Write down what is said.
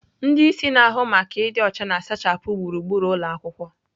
Ndị isi na-ahụ maka ịdị ọcha na-asachapụ gburugburu ụlọ akwụkwọ.